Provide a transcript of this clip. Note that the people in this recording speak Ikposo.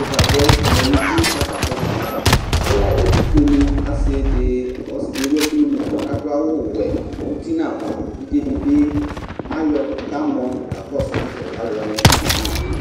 ivabuɛ lɛ nu uti ka ta sɛsɛ nu ayava ɛla ɛtufoéni asi di kɔ ɔsi di éwu ɛku nu adu awu wɛ uti na ava évidzé di bi ayɔ ka mɔ ka kɔsu nɛ fɛ ka aluwoani ka sézi nu owué li